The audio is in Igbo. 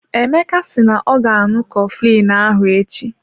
Emeka si na ọ ga aṅụ coflin ahụ echi.